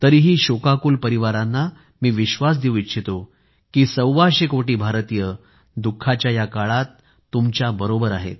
तरीही शोकाकूल परिवारांना मी विश्वास देऊ इच्छितो की सव्वाशे कोटी भारतीय दुःखाच्या या काळात तुमच्याबरोबर आहेत